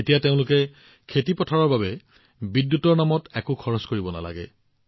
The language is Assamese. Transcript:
এতিয়া তেওঁলোকে তেওঁলোকৰ খেতিপথাৰৰ বাবে বিদ্যুতৰ বাবে একো খৰচ কৰিব নালাগে